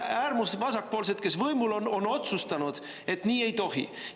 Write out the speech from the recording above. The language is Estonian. Äärmusvasakpoolsed, kes on võimul, on otsustanud, et nii ei tohi!